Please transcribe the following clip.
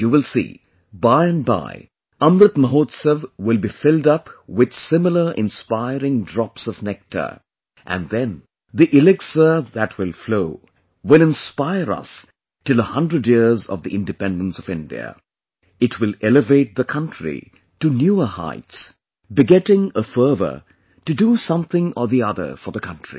You will see by and by, Amrit Mahotsav will be filled up with similar inspiring drops of nectar...and then the elixir that will flow will inspire us till a hundred years of the Independence of India...it will elevate the country to newer heights, begetting a fervor to do something or the other for the country